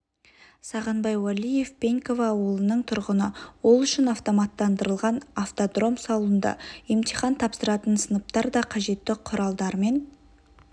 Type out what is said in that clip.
сағынбай уәлиев пеньково ауылының тұрғыны ол үшін автоматтандырылған автодром салынды емтихан тапсыратын сыныптар да қажетті құралдармен